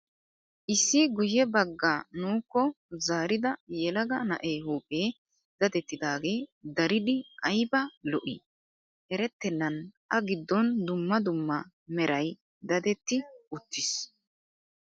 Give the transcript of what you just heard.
Issi guyye baggaa nuukko zaarida yelaga na'ee huuphphee dadettidaage daridi ayiba lo'ii. Erettennan A giddon dumma dumma merayi dadetti uttis.